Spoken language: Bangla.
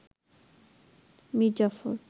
মীর জাফর